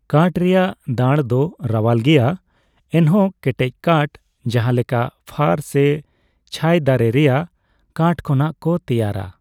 ᱠᱟᱴᱷ ᱨᱮᱭᱟᱜ ᱫᱟᱬ ᱫᱚ ᱨᱟᱣᱟᱞ ᱜᱮᱭᱟ ᱮᱱᱦᱚᱸ ᱠᱮᱴᱮᱡ ᱠᱟᱴᱷ, ᱡᱟᱦᱟᱸᱞᱮᱠᱟ ᱯᱷᱟᱨ ᱥᱮ ᱪᱷᱟᱭ ᱫᱟᱨᱮ ᱨᱮᱭᱟᱜ ᱠᱟᱴᱷ ᱠᱷᱚᱱᱟᱜ ᱠᱚ ᱛᱮᱭᱟᱨᱟ ᱾